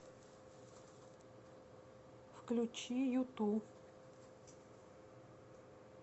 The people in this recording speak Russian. включи юту